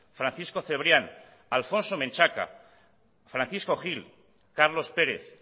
francisco cebrian alfonso menchaca francisco gil carlos pérez